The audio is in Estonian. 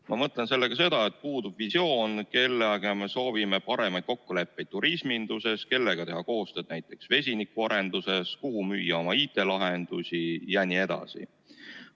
Ma mõtlen sellega seda, et puudub visioon, kellega me soovime paremaid kokkuleppeid turisminduses, kellega teha koostööd näiteks vesinikuarenduses, kuhu müüa oma IT-lahendusi jne.